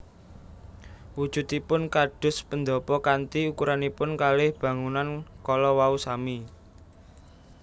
Wujudipun kados pendhapa kanthi ukuranipun kalih bangunan kala wau sami